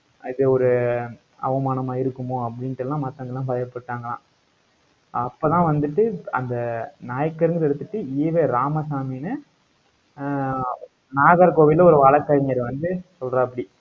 அது ஒரு அவமானமா இருக்குமோ அப்படின்ட்டு எல்லாம் மத்தவங்க எல்லாம் பயப்பட்டாங்களாம். அப்பதான் வந்துட்டு அந்த நாயக்கர்ங்கிறதை எடுத்துட்டு ஈவே ராமசாமின்னு ஆஹ் நாகர்கோவில்ல ஒரு வழக்கறிஞர் வந்து சொல்றாப்டி